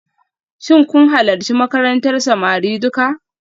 Shin kun halarci makarantar samari duka?